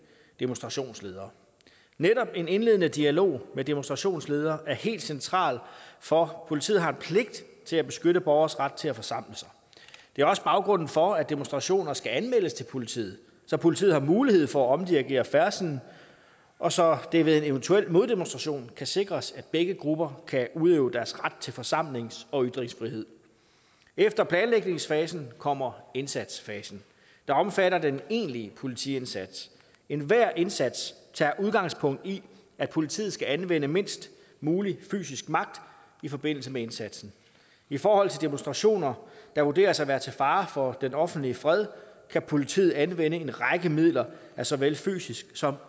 demonstrationsledere netop en indledende dialog med demonstrationsledere er helt central for politiet har en pligt til at beskytte borgeres ret til at forsamle sig det er også baggrunden for at demonstrationer skal anmeldes til politiet så politiet har mulighed for at omdirigere færdslen og så det ved en eventuel moddemonstration kan sikres at begge grupper kan udøve deres ret til forsamlings og ytringsfrihed efter planlægningsfasen kommer indsatsfasen der omfatter den egentlige politiindsats enhver indsats tager udgangspunkt i at politiet skal anvende mindst mulig fysisk magt i forbindelse med indsatsen i forhold til demonstrationer der vurderes at være til fare for den offentlige fred kan politiet anvende en række midler af såvel fysisk som